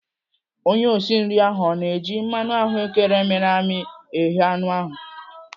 Onye osi nri ahụ ọ na-eji mmanụ ahụ́kere miri emi eghe anụ ahụ?